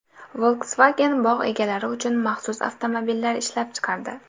Volkswagen bog‘ egalari uchun maxsus avtomobillar ishlab chiqardi .